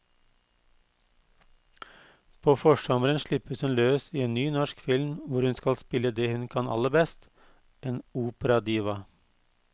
På forsommeren slippes hun løs i en ny norsk film hvor hun skal spille det hun kan aller best, en operadiva.